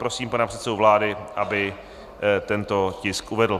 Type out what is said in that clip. Prosím pana předsedu vlády, aby tento tisk uvedl.